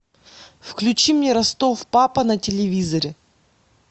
включи мне ростов папа на телевизоре